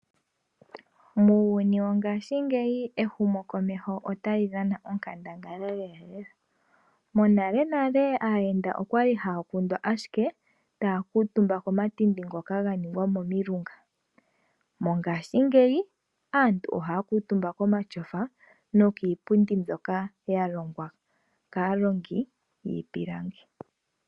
Muuyuni wongashingeyi ehumokomeho ota li dhana onkandangala lela. Monalenale aayenda okwa li haya kundwa ashike, taya kuutumba komathindi ngoka ga ningwa momilunga. Mongashingeyi aantu ohaya kuutumba komashofa nokiipundi mbyoka ya longwa kaalongi yiipilangi.